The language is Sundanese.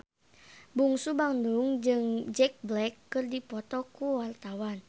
Bungsu Bandung jeung Jack Black keur dipoto ku wartawan